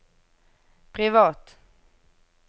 privat